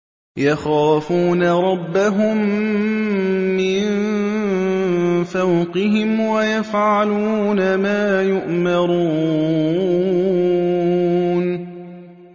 يَخَافُونَ رَبَّهُم مِّن فَوْقِهِمْ وَيَفْعَلُونَ مَا يُؤْمَرُونَ ۩